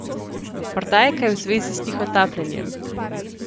Morda je kaj v zvezi s tihotapljenjem?